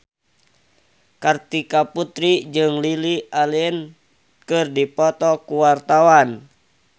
Kartika Putri jeung Lily Allen keur dipoto ku wartawan